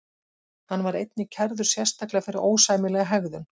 Hann var einnig kærður sérstaklega fyrir ósæmilega hegðun.